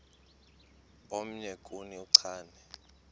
omnye kuni uchane